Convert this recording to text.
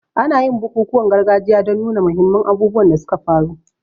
Ana yin bukukuwan gargajiya don nuna muhimman abubuwan da suka faru.